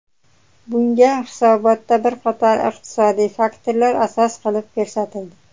Bunga hisobotda bir qator iqtisodiy faktorlar asos qilib ko‘rsatildi.